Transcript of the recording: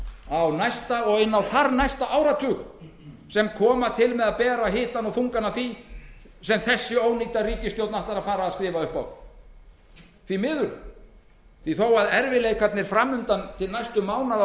á næsta og inn á þarnæsta áratug sem koma til með að bera hitann og þungann af því sem þessi ónýta ríkisstjórn ætlar að fara að skrifa upp á því miður þó að erfiðleikarnir fram undan til næstu mánaða og